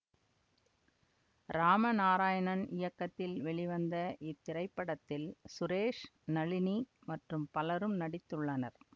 இராம நாராயணன் இயக்கத்தில் வெளிவந்த இத்திரைப்படத்தில் சுரேஷ் நளினி மற்றும் பலரும் நடித்துள்ளனர்